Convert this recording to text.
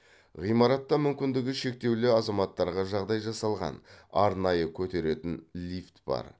ғимаратта мүмкіндігі шектеулі азаматтарға жағдай жасалған арнайы көтеретін лифт бар